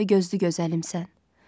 Mavi gözlü gözəlimsən.